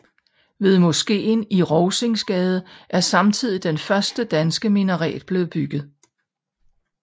Ved moskeen i Rovsingsgade er samtidig den første danske minaret blevet bygget